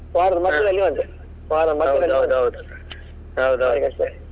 ವಾರದ ಬಂತು, .